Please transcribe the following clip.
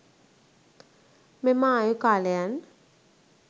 මෙම ආයු කාලයන්